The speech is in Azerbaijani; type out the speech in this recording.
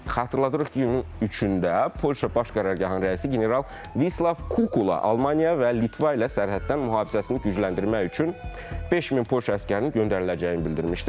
Xatırladırıq ki, iyulun 3-də Polşa Baş Qərargahının rəisi general Vislav Kukula Almaniya və Litva ilə sərhəddə mühafizəsini gücləndirmək üçün 5000 Polşa əsgərinin göndəriləcəyini bildirmişdir.